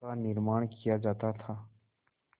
का निर्माण किया जाता था